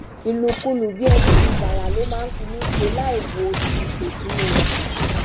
ìlùkulù bíi ẹni lu bàrà ló máa ń fi mí ṣe láì wo ti ipò tí mo wà